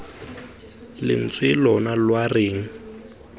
lentswe lona lwa re eng